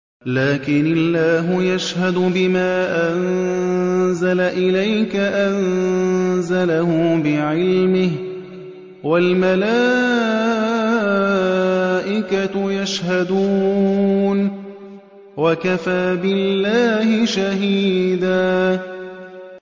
لَّٰكِنِ اللَّهُ يَشْهَدُ بِمَا أَنزَلَ إِلَيْكَ ۖ أَنزَلَهُ بِعِلْمِهِ ۖ وَالْمَلَائِكَةُ يَشْهَدُونَ ۚ وَكَفَىٰ بِاللَّهِ شَهِيدًا